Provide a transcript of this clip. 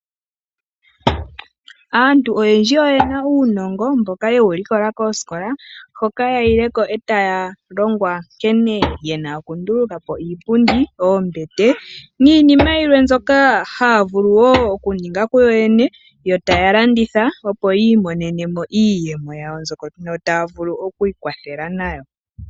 Aantu oyendji oyena uunongo mboka ye wu likola koosikola hoka ya yile ko e taya longwa nkene yena okunduluka po iipundi, oombete niinima yilwe mbyoka haa vulu wo okuninga ku yo yene yo taya landitha opo yi imonene mo iiyemo yawo mbyono taa vulu oku ikwathela nayo.